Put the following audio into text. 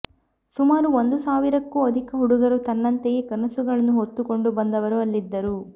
ಸುಮಾರು ಒಂದು ಸಾವಿರಕ್ಕೂ ಅಧಿಕ ಹುಡುಗರು ತನ್ನಂತೆಯೇ ಕನಸುಗಳನ್ನು ಹೊತ್ತುಕೊಂಡು ಬಂದವರು ಅಲ್ಲಿದ್ದರು